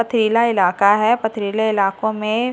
पथरीला इलाका है पथरीले इलाकों में--